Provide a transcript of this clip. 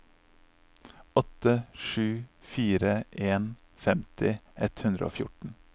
åtte sju fire en femti ett hundre og fjorten